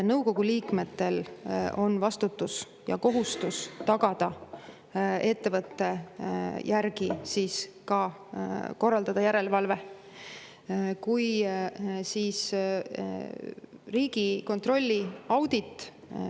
Nõukogu liikmetel on vastutus ja kohustus tagada ja korraldada ettevõtte üle järelevalve.